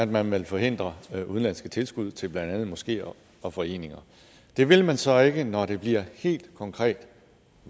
man vil forhindre udenlandske tilskud til blandt andet moskeer og foreninger det vil man så ikke når det bliver helt konkret